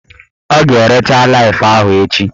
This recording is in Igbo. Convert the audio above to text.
Ọ ga-erecha Laif ahụ echi